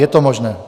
Je to možné.